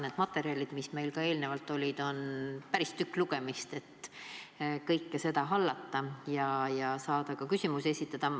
Need materjalid, mis meie käsutuses juba eelnevalt olid – need on päris tükk lugemist, et kõike seda hallata ja osata ka küsimusi esitada.